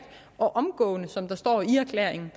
og omgående som der står i erklæringen